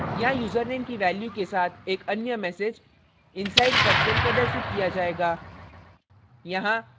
यहाँ username की value के साथ एक अन्य message inside function प्रदर्शित किया जायेगा